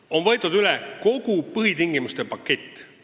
On võetud üle kogu põhitingimuste pakett.